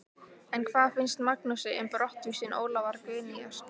En hvað finnst Magnúsi um brottvísun Ólafar Guðnýjar?